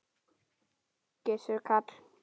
Gissur Karl.